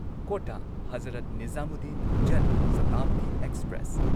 Kota Hazrat Nizamuddin Jan Shatabdi express